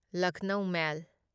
Lucknow ꯃꯦꯜ